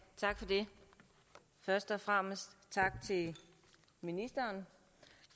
først og fremmest tak til ministeren